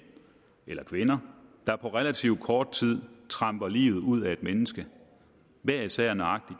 eller kvinder der på relativt kort tid tramper livet ud af et menneske hver især nøjagtig